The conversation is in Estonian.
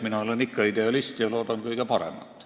Mina olen ikka idealist ja loodan kõige paremat.